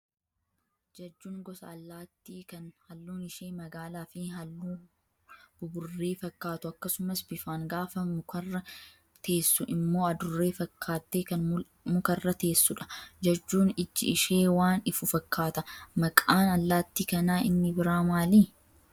Jajjuun gosa allaattii kan halluun ishee magaalaa fi halluu buburree fakkaatu akkasumas bifaan gaafa mukarra teessu immoo adurree fakkaattee kan mukarra teessudha. Jajjuun iji ishee waan ifu fakkaata. Maqaan allaattii kanaa inni biraan maali?